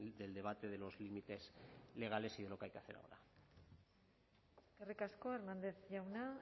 del debate de los límites legales y de lo que hay que hacer ahora eskerrik asko hernández jauna